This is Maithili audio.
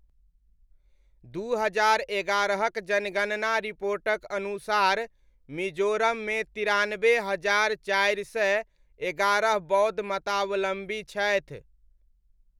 दू हजार एगारहक जनगणना रिपोर्टक अनुसार मिजोरममे तिरानब्बे हजार चारि सय एगारह बौद्ध मतावलम्बी छथि।